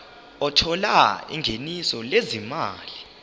othola ingeniso lezimali